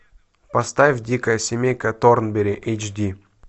поставь дикая семейка торнберри эйч ди